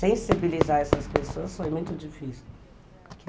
Sensibilizar essas pessoas foi muito difícil.